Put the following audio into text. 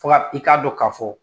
Fɔ a i k'a dɔ ka fɔ